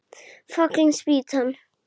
Fallin spýtan!